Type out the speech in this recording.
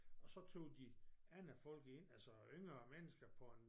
Og så tog de andre folk ind altså yngre mennesker for en